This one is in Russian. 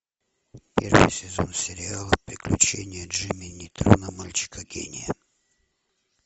первый сезон сериала приключения джимми нейтрона мальчика гения